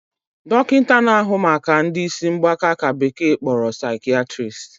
Dokinta na ahu Maka ndi isi mgbaka ka bekee kporo 'Psychiatrist'